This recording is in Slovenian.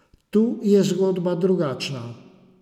Tu je zgodba drugačna.